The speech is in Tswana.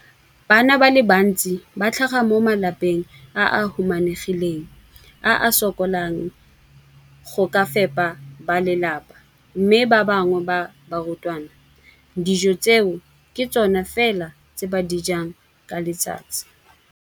Bana ba le bantsi ba tlhaga mo malapeng a a humanegileng a a sokolang go ka fepa ba lelapa mme ba bangwe ba barutwana, dijo tseo ke tsona fela tse ba di jang ka letsatsi.